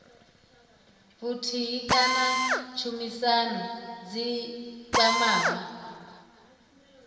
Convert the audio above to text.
vhuthihi kana tshumisano dzi kwamaho